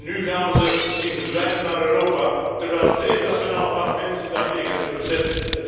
Nu gaan we ze zien verdwijnen naar Europa, terwijl zeven nationale parlementen zich daartegen hebben verzet.